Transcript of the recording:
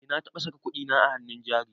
Eh na taɓa saka kudina a hannun jari